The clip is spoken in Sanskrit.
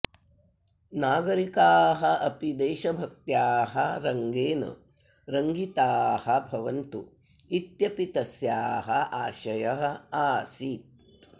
नागरिकाः अपि देशभक्त्याः रङ्गेन रङ्गिताः भवन्तु इत्यपि तस्याः आशयः आसीत्